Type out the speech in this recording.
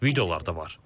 Videolar da var.